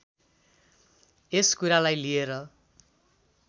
यस कुरालाई लिएर